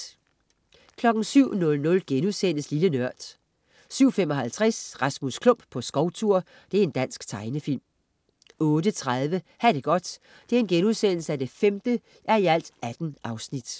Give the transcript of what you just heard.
07.00 Lille Nørd* 07.55 Rasmus Klump på skovtur. Dansk tegnefilm 08.30 Ha' det godt 5:18*